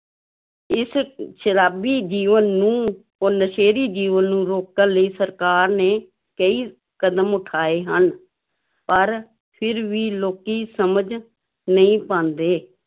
ਇਸ ਸ਼ਰਾਬੀ ਜੀਵਨ ਨੂੰ ਔਰ ਨਸ਼ੇੜੀ ਜੀਵਨ ਨੂੰ ਰੋਕਣ ਲਈ ਸਰਕਾਰ ਨੇ ਕਈ ਕਦਮ ਉਠਾਏ ਹਨ, ਪਰ ਫਿਰ ਵੀ ਲੋਕੀ ਸਮਝ ਨਹੀਂ ਪਾਉਂਦੇ।